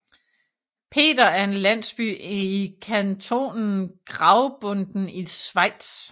Peter er en landsby i kantonen Graubünden i Schweiz